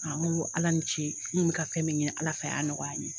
n ko ALA ni ce n kun bɛ ka fɛn min ɲini ALA fɛ a y'a nɔgɔya n ye.